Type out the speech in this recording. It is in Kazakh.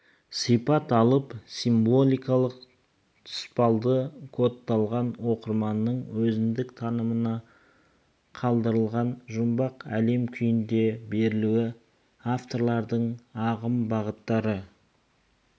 сипат алып символикалық тұспалды кодталған оқырманның өзіндік танымына қалдырылған жұмбақ әлем күйінде берілуі авторлардың ағым-бағыттар